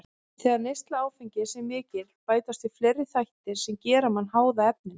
Þegar neysla áfengis er mikil bætast við fleiri þættir sem gera menn háða efninu.